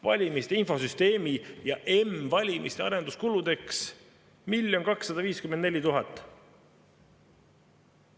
Valimiste infosüsteemi ja m-valimiste arenduskulude jaoks 1 254 000.